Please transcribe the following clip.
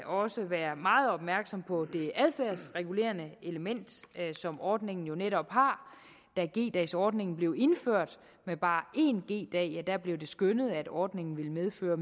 også være meget opmærksom på det adfærdsregulerende element som ordningen jo netop har da g dags ordningen blev indført med bare én g dag bliver det skønnet at ordningen ville medføre